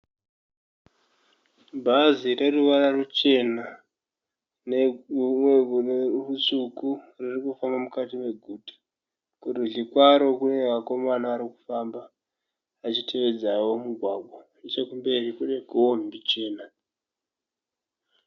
Bhazi rine ruvara Chena nerutsvuku riri kufamba mukati meguta, kurudyi kwaro kune vakomana vari kufamba vachi teedzawo mugwagwa. Nechekumberi kune kombi chena.